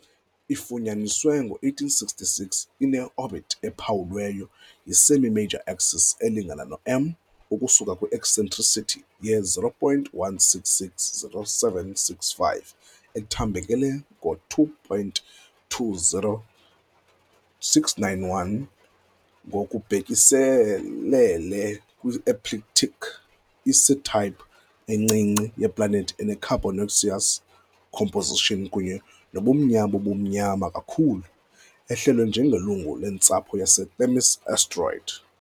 Ifunyaniswe ngo-1866, ine- orbit ephawulwe yi-semi-major axis elingana no-M ukusuka kwi- eccentricity ye-0.1660765, ethambekele ngo-2.20691 ngokubhekiselele kwi-ecliptic. I-C-type encinci yeplanethi, ene- carbonaceous composition kunye nobumnyama obumnyama kakhulu, ehlelwa njengelungu lentsapho yaseThemis asteroid.